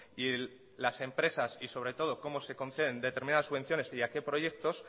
y las empresas y sobre todo como se conceden determinadas subvenciones y a que proyectos